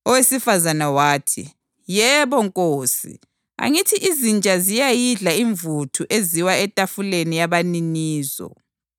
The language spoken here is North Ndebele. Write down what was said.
Owesifazane wathi, “Yebo Nkosi, angithi izinja ziyayidla imvuthu eziwa etafuleni yabaninizo.”